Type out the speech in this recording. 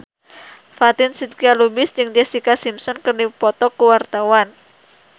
Fatin Shidqia Lubis jeung Jessica Simpson keur dipoto ku wartawan